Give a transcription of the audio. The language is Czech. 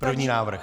První návrh.